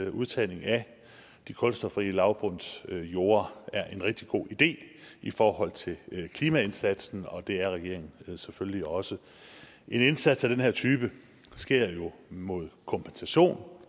at udtagning af de kulstofrige lavbundsjorde er en rigtig god idé i forhold til klimaindsatsen og det er regeringen selvfølgelig også en indsat af den her type sker jo mod kompensation